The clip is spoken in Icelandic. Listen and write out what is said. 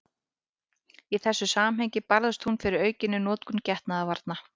Í þessu samhengi barðist hún fyrir aukinni notkun getnaðarvarna.